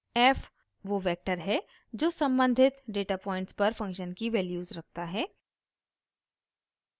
f वो vector है जो सम्बंधित डेटा पॉइंट्स पर फंक्शन की वैल्यूज़ रखता है